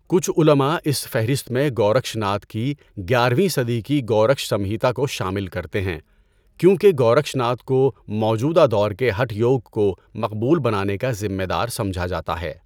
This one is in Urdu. کچھ علماء اس فہرست میں گورکشناتھ کی گیارہویں صدی کی گورکش سمہیتا کو شامل کرتے ہیں کیونکہ گورکشناتھ کو موجودہ دور کے ہٹھ یوگ کو مقبول بنانے کا ذمہ دار سمجھا جاتا ہے۔